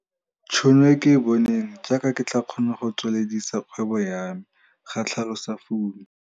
tšhono e ke e boneng, jaaka ke tla kgona go tsweledisa kgwebo ya me, ga tlhalosa Fumi.